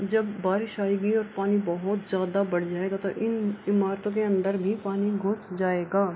जब बारिश आएगी और पानी बहुत ज़्यादा बढ़ जायेगा तो इन इमारतों के अंदर भी पानी घुस जायेगा |